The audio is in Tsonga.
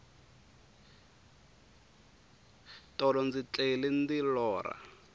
tolo ndzi tlele ndi lorha